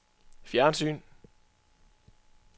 fjernsyn